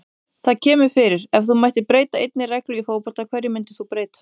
Það kemur fyrir Ef þú mættir breyta einni reglu í fótbolta, hverju myndir þú breyta?